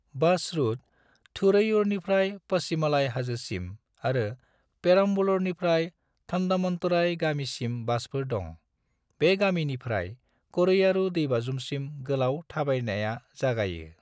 बास route : थुरैयूरनिफ्राय पचीमलाई हाजोसिम, आरो पेरम्बलूरनिफ्राय थन्डामन्तुरई गामिसिम बासफोर दं। बे गामिनिफ्राय करैयारू दैबाज्रुमसिम गोलाव थाबायनाया जागायो।